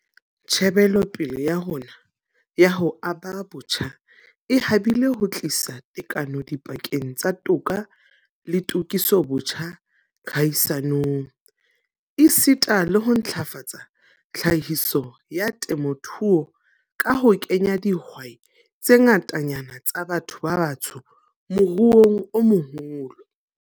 Tjhebelopele ya rona ya ho aba botjha e habile ho tlisa tekano dipakeng tsa toka le tokisobotjha kahisanong, esita le ho ntlafatsa tlhahiso ya temothuo ka ho kenya dihwai tse ngatanyana tsa batho ba batsho moruong o moholo.